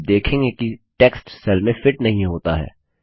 आप देखेंगे कि टेक्स्ट सेल में फिट नहीं होता है